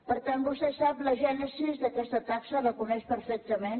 per tant vostè sap la gènesi d’aquesta taxa la coneix perfectament